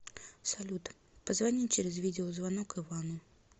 салют позвони через видеозвонок ивану